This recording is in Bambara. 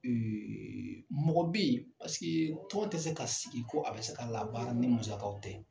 mɔgɔ bɛ yen paseke tɔn tɛ se ka sigi ko a bɛ se ka labaara ni musakaw tɛ.